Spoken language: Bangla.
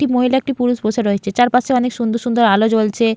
একটি মহিলা একটি পুরুষ বসে রয়েছেচারপাশে অনেক সুন্দর সুন্দর আলো জ্বলছে।